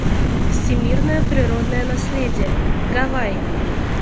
всемирное природное наследие гавайи